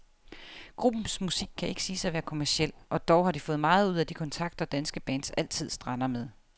Gruppens musik kan ikke siges at være kommerciel, og dog har de fået meget ud af de kontrakter, danske bands altid strander med.